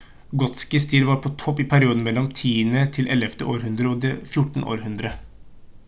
gotisk stil var på topp i perioden mellom 10.–11. århundre og det 14. århundre